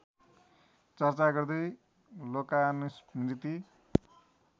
चर्चा गर्दै लोकानुस्मृति